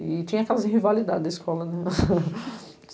E tinha aquelas rivalidades de escola, né?